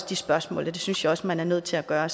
de spørgsmål og det synes jeg også man er nødt til at gøre